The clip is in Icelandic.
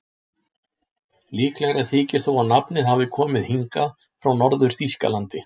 Líklegra þykir þó að nafnið hafi komið hingað frá Norður-Þýskalandi.